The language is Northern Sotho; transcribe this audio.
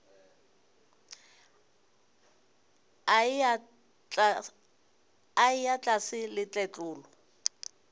a eya tlase le tletlolo